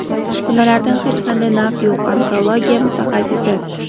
uskunalardan hech qanday naf yo‘q – onkologiya mutaxassisi.